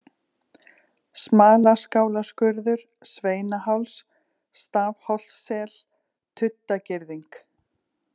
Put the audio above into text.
Smalaskálaskurður, Sveinaháls, Stafholtssel, Tuddagirðing